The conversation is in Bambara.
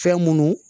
Fɛn munnu